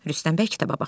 Rüstəm bəy kitaba baxır.